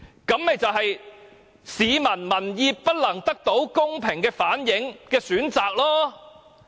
這便是市民民意不能得到公平的反映的選擇。